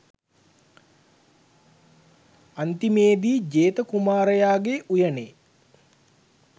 අන්තිමේදී ජේත කුමාරයාගේ උයනේ